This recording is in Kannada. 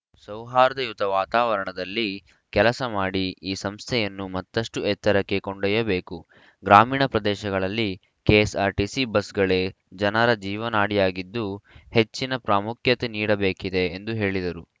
ಸೌಹಾರ್ದಯುತ ವಾತಾವರಣದಲ್ಲಿ ಕೆಲಸ ಮಾಡಿ ಈ ಸಂಸ್ಥೆಯನ್ನು ಮತ್ತಷ್ಟುಎತ್ತರಕ್ಕೆ ಕೊಂಡೊಯ್ಯಬೇಕು ಗ್ರಾಮೀಣ ಪ್ರದೇಶಗಳಲ್ಲಿ ಕೆಎಸ್‌ಆರ್‌ಟಿಸಿ ಬಸ್‌ಗಳೇ ಜನರ ಜೀವನಾಡಿಯಾಗಿದ್ದು ಹೆಚ್ಚಿನ ಪ್ರಾಮುಖ್ಯತೆ ನೀಡಬೇಕಿದೆ ಎಂದು ಹೇಳಿದರು